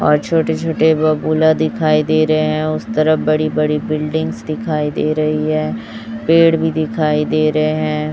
और छोटे छोटे बबूला दिखाई दे रहे हैं उस तरफ बड़ी बड़ी बिल्डिंग्स दिखाई दे रही है पेड़ भी दिखाई दे रहे हैं।